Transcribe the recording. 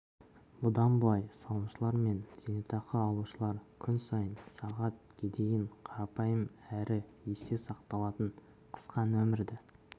бұдан былай салымшылар мен зейнетақы алушылар күн сайын сағат гедейін қарапайым әрі есте сақталатын қысқа нөмірді